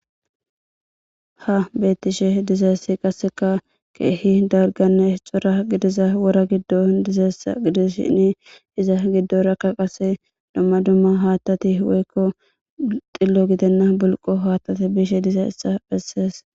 Ha bettishe dizayssi qasseka keehi darganne esxora gidiza wora giddo dizayssa gidishini iza giddo rakka qase domma dumma haattati woykko xillo gidenna bulqo haattate bishe dizayssa phessees.